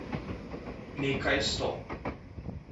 Nekaj sto...